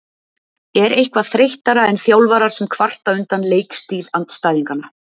Er eitthvað þreyttara en þjálfarar sem kvarta undan leikstíl andstæðinganna?